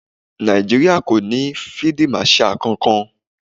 Nàìjíríà kò ní fíídí màṣaà kankan.